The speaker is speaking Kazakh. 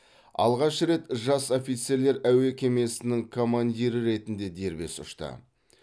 алғаш рет жас офицерлер әуе кемесінің командирі ретінде дербес ұшты